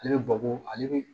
Ale bɛ babu ale bɛ